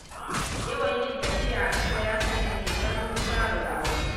Yawan yin tafiya a ƙasa, ya sanya teɓar Musa raguwa.